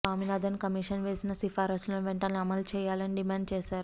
Swaminathan commission చేసిన సిఫారసులను వెంటనే అమలు చేయాలని డిమాండ్ చేశారు